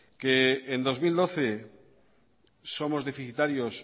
que en dos mil doce somos deficitarios